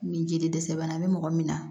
Ni jeli dɛsɛ bana bɛ mɔgɔ min na